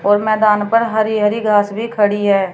और मैदान पर हरी हरी घास भी खड़ी है।